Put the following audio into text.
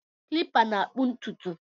Kilipa na-akpụ ntụtụ